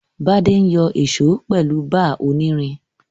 Bádé n yo ìso pèlu bar onírin